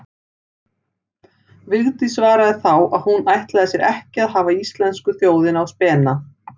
Vigdís svaraði þá að hún ætlaði sér ekki að hafa íslensku þjóðina á spena.